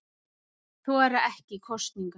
Þora ekki í kosningar